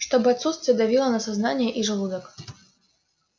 чтобы отсутствие давило на сознание и желудок